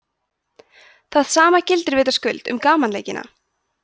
það sama gildir vitaskuld um gamanleikina